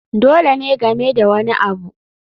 Dole ne game da wani abu